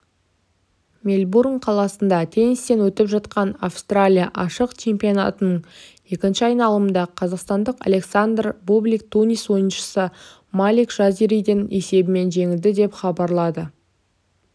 мельбурн қаласында теннистен өтіп жатқан австралия ашық чемпионатының екінші айналымында қазақстандық александр бублик тунис ойыншысы малик жазириден есебімен жеңілді деп хабарлады